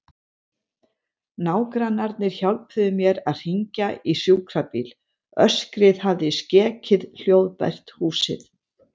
Nágrannarnir hjálpuðu mér að hringja í sjúkrabíl, öskrið hafði skekið hljóðbært húsið.